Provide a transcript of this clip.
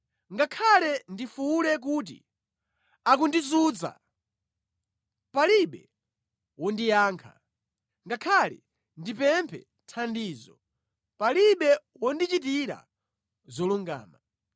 “Ngakhale ndifuwule kuti, ‘Akundizunza!’ Palibe wondiyankha; ngakhale ndipemphe thandizo, palibe wondichitira zolungama.